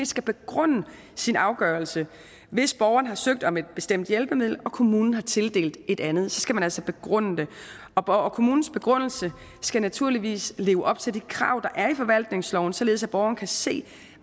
skal begrunde sin afgørelse hvis borgeren har søgt om et bestemt hjælpemiddel og kommunen har tildelt et andet skal man altså begrunde det og kommunens begrundelse skal naturligvis leve op til de krav der er i forvaltningsloven således at borgeren kan se